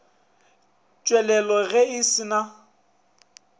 tswalela ge a se na